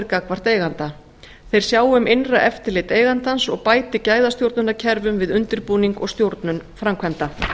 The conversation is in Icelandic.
gagnvart eiganda þeir sjái um innra eftirlit eigandans og bæti gæðastjórnunarkerfum við undirbúning og stjórnun framkvæmda